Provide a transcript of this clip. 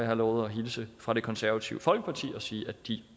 har lovet at hilse fra det konservative folkeparti og sige at de